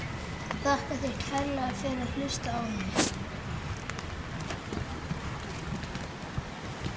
Tíðni hans virðist fara vaxandi vegna breyttra lifnaðarhátta.